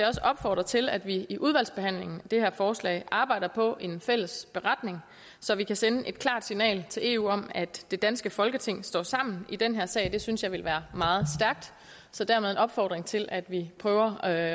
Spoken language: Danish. også opfordre til at vi i udvalgsbehandlingen af det her forslag arbejder på en fælles beretning så vi kan sende et klart signal til eu om at det danske folketing står sammen i den her sag det synes jeg ville være meget stærkt så dermed en opfordring til at vi prøver at